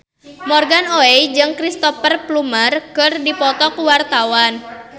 Morgan Oey jeung Cristhoper Plumer keur dipoto ku wartawan